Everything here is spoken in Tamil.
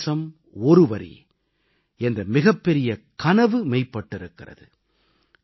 ஒரு தேசம் ஒரு வரி என்ற மிகப்பெரிய கனவு மெய்ப்பட்டிருக்கிறது